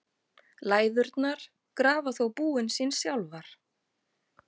Læðurnar grafa þó búin sín sjálfar.